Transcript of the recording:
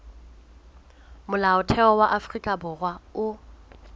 molaotheo wa afrika borwa o